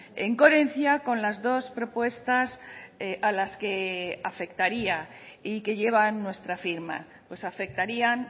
en coherencia con las dos propuestas a las que afectaría y que llevan nuestra firma pues afectarían